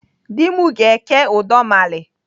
Dị m ga-eke udọmali